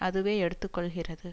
அதுவே எடுத்துக்கொள்கிறது